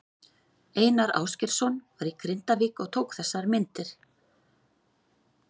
Einar Ásgeirsson var í Grindavík og tók þessar myndir.